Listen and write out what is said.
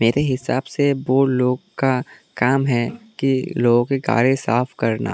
मेरे हिसाब से बुड़ लोग का काम है कि लोगों की गाड़ी साफ करना।